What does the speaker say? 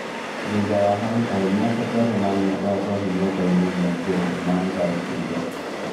Thutha wa hau arũme atatũ arĩa manyuaga njohi nyũmbani ĩmwe ngũrũ nĩmamũtharikĩirĩ